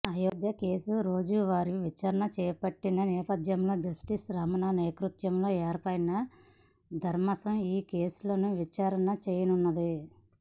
Ayodhya case రోజూవారీ విచారణ చేపట్టిన నేపథ్యంలో జస్టిస్ రమణ నేతృత్వంలో ఏర్పాటైన ధర్మాసం ఈ కేసులను విచారణ చేయనున్నది